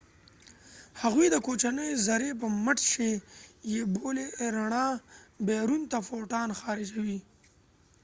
هغوی د کوچنۍ زرې په مټ چې photon یې بولي رڼا بیرون ته خارجوي